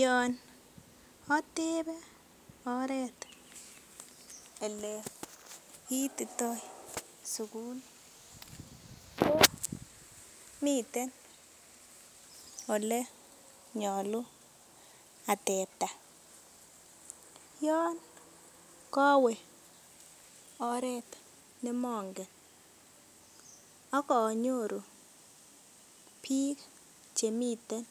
yoon otebe oret ele kiitito suguli komiten ele nyolu ateptaa yoon kowe oret nemongen akonyoru biik chemiten